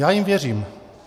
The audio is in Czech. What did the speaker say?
Já jim věřím.